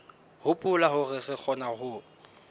hopola hore re kgona ho